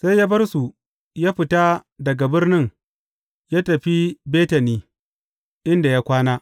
Sai ya bar su, ya fita daga birnin ya tafi Betani, inda ya kwana.